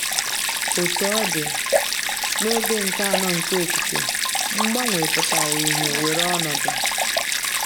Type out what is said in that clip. Otú ọ dị, n’oge nke anọ nke okike, mgbanwe pụtara ìhè weere ọnọdụ.